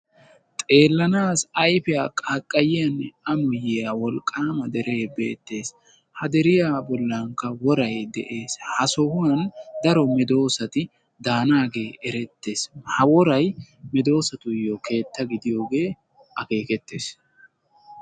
xeelanaassi ayfiya qaaqayiyanne ammoyiya wolqaama deree beetees. ha deriya bolankka woray beetees. ha deriya bolankka daro medoosati daanaagee eretees ha woray medoosatuyo keetta gidiyogee erettees.